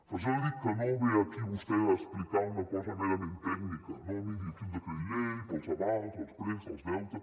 per això li dic que no ve aquí vostè a explicar una cosa merament tècnica no miri aquí un decret llei per als avals els préstecs els deutes